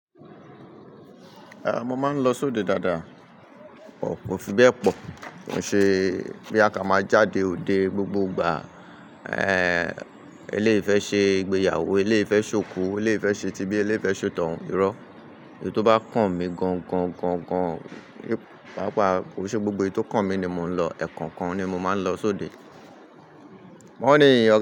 Rárá, mo máa ń lọ sóde dáadáa, but ko fi bẹ́ẹ̀ pọ̀. Ó ṣe bí á ká máa jáde òde gbogbo ìgbà. Eh, eléyi fé ṣe ìgbéyàwó, eléyi fé ṣòku, eléfé ṣe tibí, eléfé ṣetoun irọ́. Ohun tó bá kàn mí gan gan gan gan, pàápàá ò ṣe gbogbo ohun tó kàn mí ni mo ń lọ, ẹ̀kookan ni mo máa ń lọ sóde. Wọ́n ní ìyá.